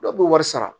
Dɔw b'u wari sara